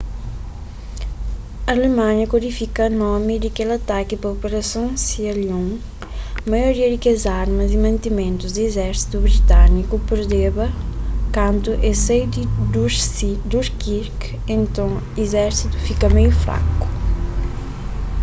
alemanha kódifika nomi di kel ataki pa 'operason sealion maioria di kes armas y mantimentus di izérsitu britániku perdeba kantu es sai di dunkirk nton izérsitu fika meiu fraku